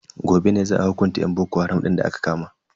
Gobe ne za a hukunta yan boko haram din da aka kama.